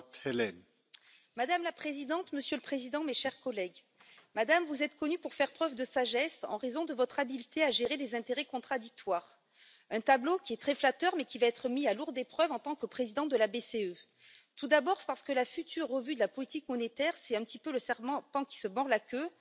Monsieur le Président, Madame la Présidente, mes chers collègues, Madame, vous êtes connue pour faire preuve de sagesse en raison de votre habileté à gérer des intérêts contradictoires, un tableau qui est très flatteur, mais qui va être mis à rude épreuve à ce poste de présidente de la BCE, tout d'abord parce que la future revue de la politique monétaire, c'est un petit peu le serpent qui se mord la queue.